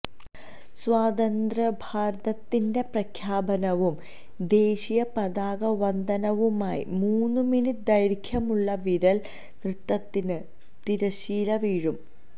സ്വതന്ത്രഭാരതത്തിന്റെ പ്രഖ്യാപനവും ദേശീയ പതാകവന്ദനവുമായി മൂന്ന് മിനിറ്റ് ദൈര്ഘ്യമുള്ള വിരല് നൃത്തത്തിന് തിരശ്ശീല വീഴും